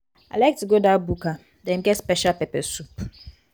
i like to go dat buka dem get special pepper soup.